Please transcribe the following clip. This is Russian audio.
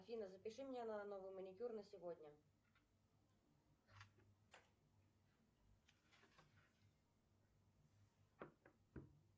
афина запиши меня на новый маникюр на сегодня